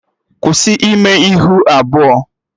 Kwụsị ime ihu abụọ!